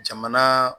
Jamana